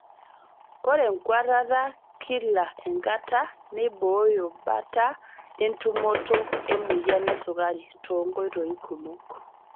Ore enkuatata kila enkata neiboyo bata entumoto emoyian esukari too nkoitoi kumok.